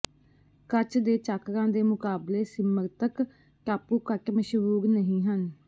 ਕੱਚ ਦੇ ਚਾਕਰਾਂ ਦੇ ਮੁਕਾਬਲੇ ਸਿਮਰਤਕ ਟਾਪੂ ਘੱਟ ਮਸ਼ਹੂਰ ਨਹੀਂ ਹਨ